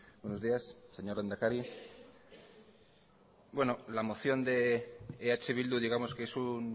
buenos días señor lehendakari la moción de eh bildu digamos que es un